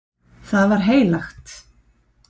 Það var heilagt.